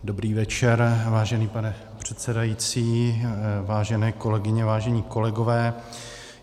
Dobrý večer, vážený pane předsedající, vážené kolegyně, vážení kolegové.